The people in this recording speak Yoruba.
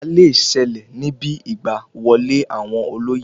Ìjà le sẹlẹ̀ níbi Ìgbà wọlé àwọn olóyè